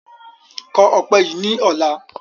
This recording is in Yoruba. Kọ ọpẹ yí ni ọ̀la!